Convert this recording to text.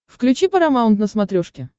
включи парамаунт на смотрешке